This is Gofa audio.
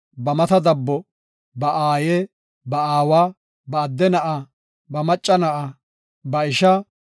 ba mata dabbo, ba aaye, ba aawa, ba adde na7aa, ba macca na7e, ba ishaa,